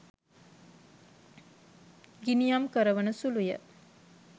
ගිනියම් කරවන සුලුය